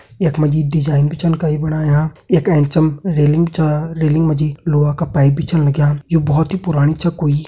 यख मजी डिजाइन भी छन कई बणाया यख एंचम रेलिंग बी छ रेलिंग मजी लुआ का पाइप भी छन लग्यां यु बोहोत ही पुराणी छ कोई।